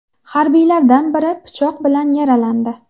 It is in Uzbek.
Harbiylardan biri pichoq bilan yaralandi.